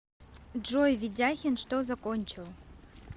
джой ведяхин что закончил